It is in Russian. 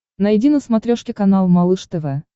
найди на смотрешке канал малыш тв